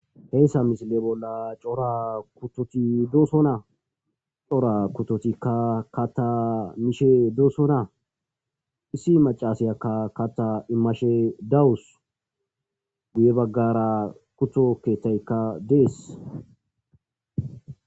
heyssa misile bolla cora kutoti dooso na cora kutotikka kata mishe dooso naa issi macasayakka kata imashe dawus gu7e baggara kuthokettaykka dees